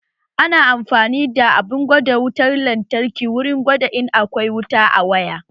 Ana amfani da abun gwada wutar lantarki wurin gwada in akwai wuta a waya